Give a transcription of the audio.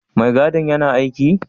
Mai gadin yana aiki?